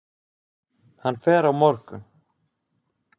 Hann fer á morgun.